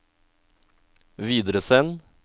videresend